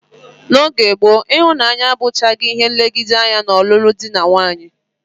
N'oge gboo, ịhụnanya abụchaghị ihe nlegide anya n'ọlụlụ dị na nwaanyị